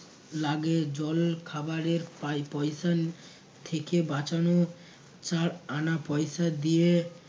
লাগে জল খাবারের পায় পয়সা থেকে বাঁচানো চার আনা পয়সা দিয়ে